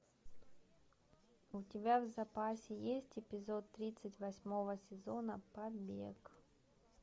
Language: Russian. у тебя в запасе есть эпизод тридцать восьмого сезона побег